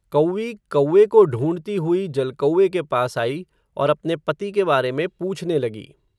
कौवी कौवे को ढूंढती हुई जलकौवे के पास आई, और अपने पति के बारे में पूछने लगी.